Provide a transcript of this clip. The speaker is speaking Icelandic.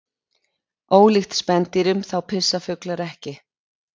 ólíkt spendýrum þá pissa fuglar ekki